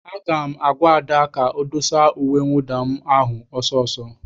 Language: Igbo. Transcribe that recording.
Aga m agwa Ada ka o dosa uwe mwụda m ahụ ọsọ ọsọ!